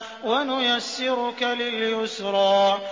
وَنُيَسِّرُكَ لِلْيُسْرَىٰ